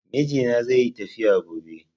Mijina zaiyi tafiya gone